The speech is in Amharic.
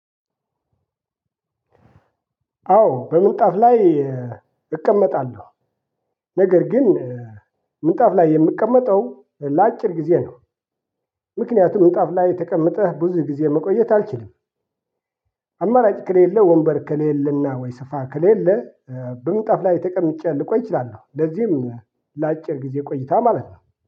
አዎ በምንጣፍ ላይ እቀመጣለሁ። ነገር ግን ምንጣፍ ላይ የምቀመጠው ለ አጭር ጊዜ ነው። ምክንያቱም ምንጣፍ ላይ ተቀመጠህ ብዙ ጊዜ መቆየት አልችልም። አማራጭ ከሌለ ወንበር ከሌለና ወይ ስፋ ከሌለ በምጣፍ ላይ ተቀምጬ ልቆይ አችላለሁ። ለዚህም ላጭር ጊዜ ቆይታ ማለት ነው